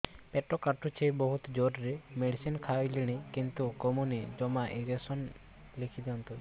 ପେଟ କାଟୁଛି ବହୁତ ଜୋରରେ ମେଡିସିନ ଖାଇଲିଣି କିନ୍ତୁ କମୁନି ଜମା ଇଂଜେକସନ ଲେଖିଦିଅନ୍ତୁ